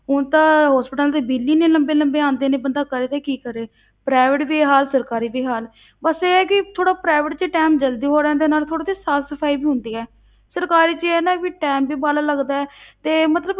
ਹੁਣ ਤਾਂ hospitals ਦੇ ਬਿੱਲ ਹੀ ਇੰਨੇ ਲੰਬੇ ਲੰਬੇ ਆਉਂਦੇ ਨੇ, ਬੰਦਾ ਕਰੇ ਤਾਂ ਕੀ ਕਰੇ private ਵੀ ਇਹ ਹਾਲ ਸਰਕਾਰੀ ਵੀ ਇਹ ਹਾਲ ਬਸ ਇਹ ਆ ਕਿ ਥੋੜ੍ਹਾ private ਵਿੱਚ time ਜ਼ਲਦੀ ਹੋ ਜਾਂਦਾ, ਨਾਲੇ ਥੋੜ੍ਹਾ ਜਿਹਾ ਸਾਫ਼ ਸਫ਼ਾਈ ਵੀ ਹੁੰਦੀ ਹੈ ਸਰਕਾਰੀ ਵਿੱਚ ਇਹ ਆ ਨਾ ਵੀ time ਵੀ ਵਾਲਾ ਲੱਗਦਾ ਹੈ ਤੇ ਮਤਲਬ